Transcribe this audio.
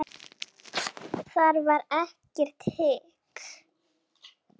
Þar var ekkert hik.